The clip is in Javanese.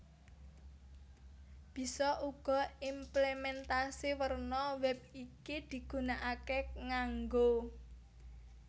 Bisa uga implementasi werna wèb iki digunakaké nganggo